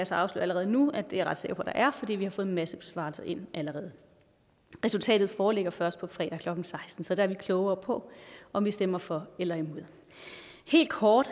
så afsløre allerede nu at det er jeg ret sikker på der er fordi vi har fået en masse besvarelser ind allerede resultatet foreligger først på fredag klokken sekstende så der er vi klogere på om vi stemmer for eller imod helt kort